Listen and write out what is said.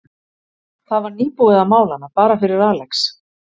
Það var nýbúið að mála hana, bara fyrir Alex.